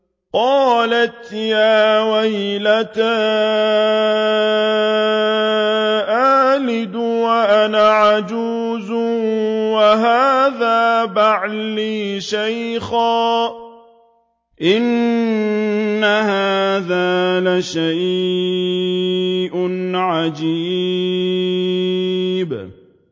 قَالَتْ يَا وَيْلَتَىٰ أَأَلِدُ وَأَنَا عَجُوزٌ وَهَٰذَا بَعْلِي شَيْخًا ۖ إِنَّ هَٰذَا لَشَيْءٌ عَجِيبٌ